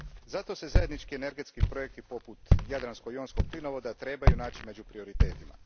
Zato se zajednički energetski projekti, poput jadransko jonskog plinovoda, trebaju naći među prioritetima.